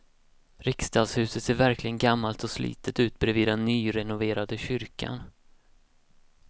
Riksdagshuset ser verkligen gammalt och slitet ut bredvid den nyrenoverade kyrkan.